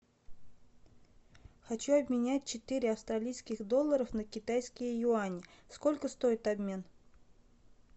хочу обменять четыре австралийских доллара на китайские юани сколько стоит обмен